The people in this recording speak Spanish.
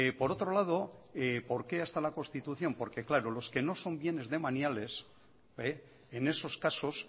por otro lado por qué hasta la constitución porque claro los que no son bienes demaniales en esos casos